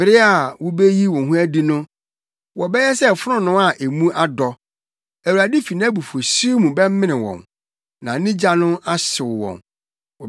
Bere a wubeyi wo ho adi no wobɛyɛ wɔn sɛ fononoo a mu adɔ. Awurade fi nʼabufuwhyew mu bɛmene wɔn, na ne gya no ahyew wɔn.